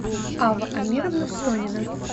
ава амировна сонина